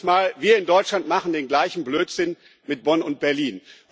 Ich sage jedes Mal Wir in Deutschland machen den gleichen Blödsinn mit Bonn und Berlin.